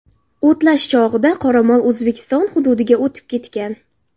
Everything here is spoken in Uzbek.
O‘tlash chog‘ida qoramol O‘zbekiston hududiga o‘tib ketgan.